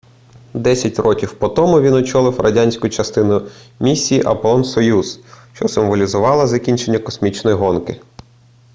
десять років по тому він очолив радянську частину місії аполлон-союз що символізувала закінчення космічної гонки